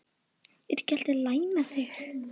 Er ekki allt lagi með þig?